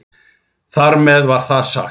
Þar með var það sagt.